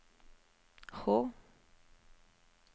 H